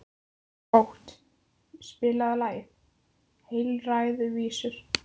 Bót, spilaðu lagið „Heilræðavísur“.